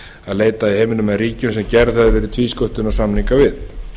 að leita en í ríkjum sem gerðir hafa verið tvísköttunarsamningar við